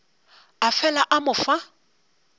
a fela a mo fa